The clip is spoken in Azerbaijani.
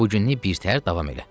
Bu günlük birtəhər davam elə.